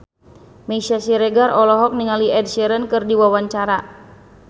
Meisya Siregar olohok ningali Ed Sheeran keur diwawancara